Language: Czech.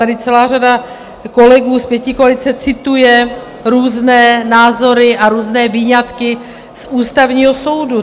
Tady celá řada kolegů z pětikoalice cituje různé názory a různé výňatky z Ústavního soudu.